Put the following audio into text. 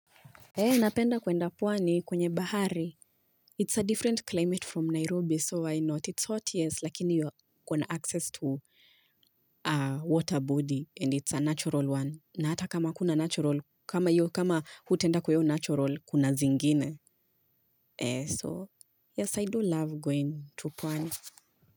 Napenda kwenda pwani kwenye bahari. It's a different climate from Nairobi so I know it's hot yes lakini kuna access to water body and it's a natural one. Na hata kama kuna natural kama yu kama hutaenda kwa hiyo natural kuna zingine. So yes I do love going to pwani.